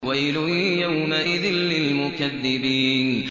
وَيْلٌ يَوْمَئِذٍ لِّلْمُكَذِّبِينَ